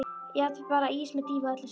Jafnvel bara ís með dýfu og öllu saman.